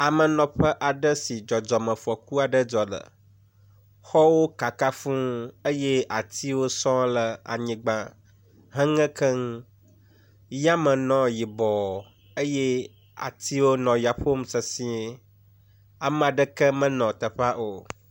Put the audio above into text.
Amenɔƒe aɖe si dzɔdzɔmefɔku aɖe dzɔ le. Xɔwo kaka fuu eye atsiwo sɔŋ le anyigba heŋe keŋ. Yame nɔ yibɔ eye atiwo nɔ ya ƒom sesie. Ame aɖeke menɔ teƒea o.